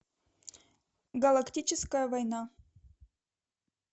галактическая война